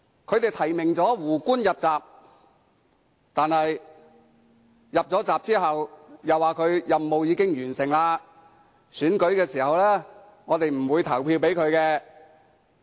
他們提名"胡官"入閘，但在他入閘後卻說其任務已經完成，在選舉時是不會投票給他。